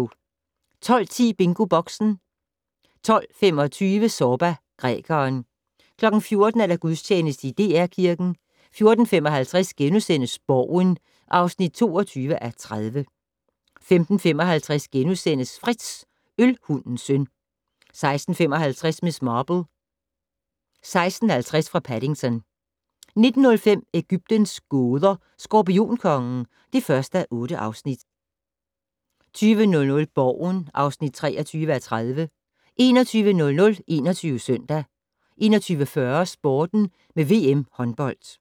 12:10: BingoBoxen 12:25: Zorba, grækeren 14:00: Gudstjeneste i DR Kirken 14:55: Borgen (22:30)* 15:55: Frits - Ølhundens søn * 16:55: Miss Marple: 16:50 fra Paddington 19:05: Egyptens gåder - Skorpionkongen (1:8) 20:00: Borgen (23:30) 21:00: 21 Søndag 21:40: Sporten med VM håndbold